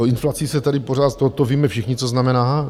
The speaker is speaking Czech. O inflaci se tady pořád, to víme všichni, co znamená.